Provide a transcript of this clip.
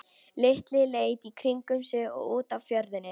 Lilla leit í kringum sig og út á fjörðinn.